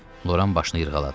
Loran başını yırğaladı.